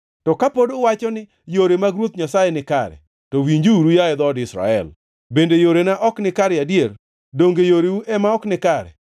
“To ka pod uwacho ni, ‘Yore mag Ruoth Nyasaye ok nikare.’ To winjuru, yaye dhood Israel: Bende yorena ok nikare adier? Donge yoreu ema ok nikare?